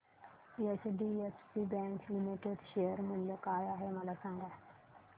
HDFC bank limited share मूल्य काय आहे मला सांगा